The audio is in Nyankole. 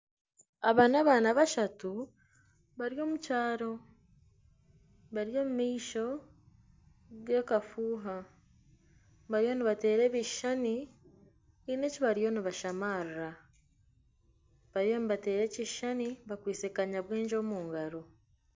Aba n'abaana bashatu bari omu kyaro, bari omu maisho g'akafuuha, bariyo nibateera ebishushani haine eki bariyo nibashamarira bariyo nibateera ekishushani bakwitse kanyabwengye omu ngaro